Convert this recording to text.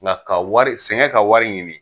Ŋa ka wari sɛŋɛn ka wari ɲini